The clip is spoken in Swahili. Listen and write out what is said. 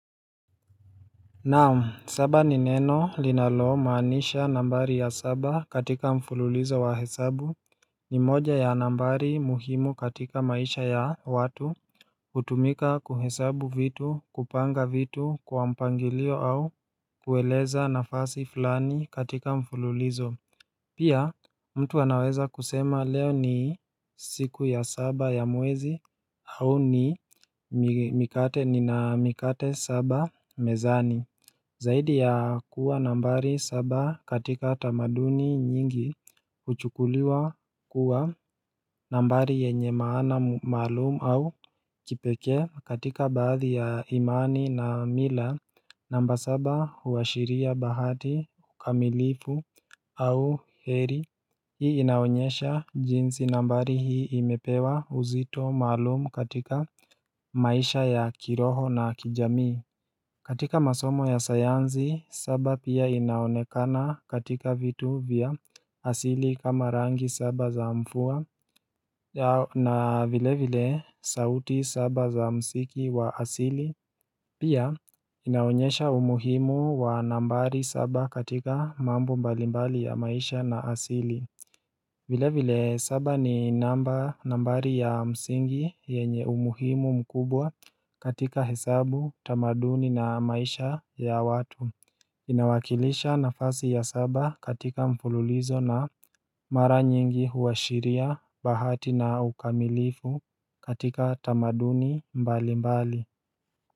Naam saba ni neno linalo maanisha nambari ya saba katika mfululizo wa hesabu ni moja ya nambari muhimu katika maisha ya watu hutumika kuhesabu vitu kupanga vitu kwa mpangilio au kueleza nafasi fulani katika mfululizo Pia mtu anaweza kusema leo ni siku ya saba ya mwezi au ni mikate ni na mikate saba mezani Zaidi ya kuwa nambari saba katika tamaduni nyingi huchukuliwa kuwa nambari yenye maana malumu au kipekee katika baadhi ya imani na mila namba saba huashiria bahati, kamilifu au heri Hii inaonyesha jinsi nambari hii imepewa uzito maalumu katika maisha ya kiroho na kijamii katika masomo ya sayanzi saba pia inaonekana katika vitu vya asili kama rangi saba za mfua na vile vile sauti saba za msiki wa asili Pia inaonyesha umuhimu wa nambari saba katika mambo mbalimbali ya maisha na asili vile vile saba ni namba nambari ya msingi yenye umuhimu mkubwa katika hesabu tamaduni na maisha ya watu Inawakilisha nafasi ya saba katika mfululizo na mara nyingi huwashiria bahati na ukamilifu katika tamaduni mbali mbali.